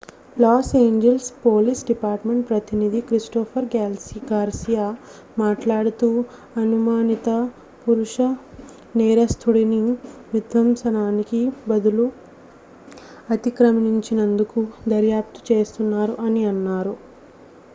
loss Angeles police department ప్రతినిధి Christopher Garcia మాట్లాడుతూ అనుమానిత పురుష నేరస్థుడిని విధ్వంసానికి బదులు అతిక్రమించినందుకు దర్యాప్తు చేస్తున్నారు అని అన్నారు